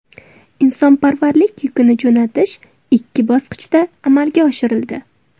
Insonparvarlik yukini jo‘natish ikki bosqichda amalga oshirildi.